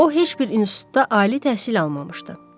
O heç bir institutda ali təhsil almamışdı.